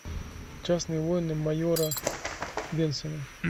частные войны майора бенсона